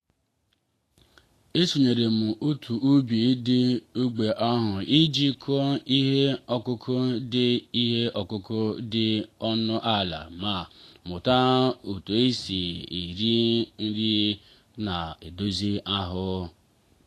e sonyeere m otu ubi dị n'ógbè ahụ iji kụọ ihe ọkụkụ dị ihe ọkụkụ dị ọnụ ala ma mụta usoroisi nri ndị na-edozi ahụ.